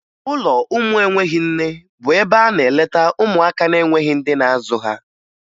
Ụlọ ụmụ enweghi nne bụ ebe a na-eleta ụmụaka na-enweghi ndị na-azụ ha